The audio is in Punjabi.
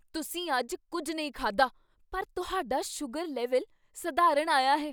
ਤੁਸੀਂ ਅੱਜ ਕੁੱਝ ਨਹੀਂ ਖਾਧਾ ਪਰ ਤੁਹਾਡਾ ਸ਼ੂਗਰ ਲੈਵਲ ਸਧਾਰਨ ਆਇਆ ਹੈ!